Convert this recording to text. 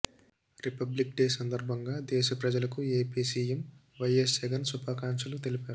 republic day సందర్భంగా దేశ ప్రజలకు ఏపీ సీఎం వైఎస్ జగన్ శుభాకాంక్షలు తెలిపారు